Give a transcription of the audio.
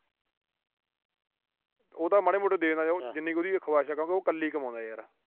ਉਹ ਤਾਂ ਮਾੜੇ ਮੋਟੇ ਦੇ ਦਿੰਦਾ, ਜਿੰਨੀ ਕ ਉਹਦੀ ਖੁਆਇਸ਼ ਆ ਕਿਉਂਕਿ ਉਹ ਕੱਲਾ ਈ ਕਮਾਉਂਦਾ ਯਾਰ।